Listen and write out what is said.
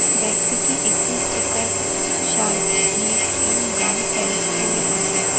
ব্যক্তিটি একটি checkered shirt vest এবং গাঢ় প্যান্ট পরে আছেন।